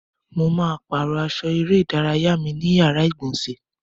Mo ma pàrọ́ aṣọ eré ìdárayá mi ní yàrá ìgbọ̀nsẹ̀.